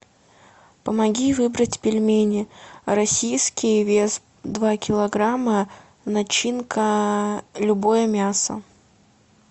помоги выбрать пельмени российские вес два килограмма начинка любое мясо